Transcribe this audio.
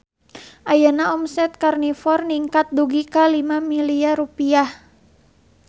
Ayeuna omset Karnivor ningkat dugi ka 5 miliar rupiah